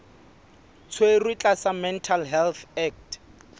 tshwerwe tlasa mental health act